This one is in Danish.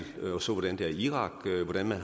og så hvordan der er i irak og hvordan